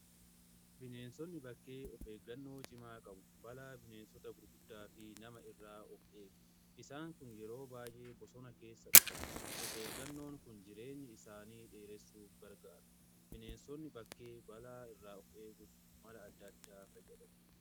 bineensonni bakkee of eeggannoo cimaa qabu. balaa bineensota gurguddaa fi nama irraa of eegu. isaan kun yeroo baay'ee bosona keessa dhokatu. of eeggannoon kun jireenya isaanii dheeressuuf gargaara. bineensonni bakkee balaa irraa of eeguuf mala addaa addaa fayyadamu.